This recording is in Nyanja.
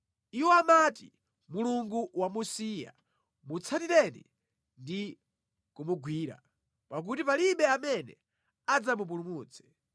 Iwo amati, “Mulungu wamusiya; mutsatireni ndi kumugwira, pakuti palibe amene adzamupulumutse.”